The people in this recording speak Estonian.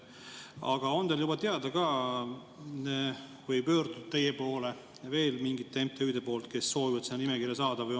Aga on teil juba teada, on teie poole pöördunud veel mingid MTÜ-d, kes soovivad sinna nimekirja saada?